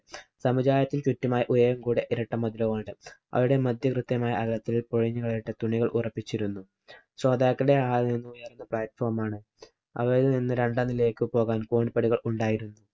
അവിടെ മധ്യവൃത്തമായ ആകാരത്തില്‍ ഉറപ്പിച്ചിരുന്നു. ശ്രോതാക്കളുടെ hall ഇല്‍ നിന്നും ഉയര്‍ന്ന platform ആണ്. അവയില്‍ നിന്ന് രണ്ടാം നിലയിലേക്ക് പോകാന്‍ കോണിപ്പടികള്‍ ഉണ്ടായിരുന്നു.